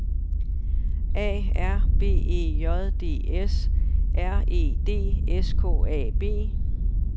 A R B E J D S R E D S K A B